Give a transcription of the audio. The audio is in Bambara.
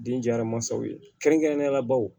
Den jara mansaw ye kɛrɛnkɛrɛnnenyala baw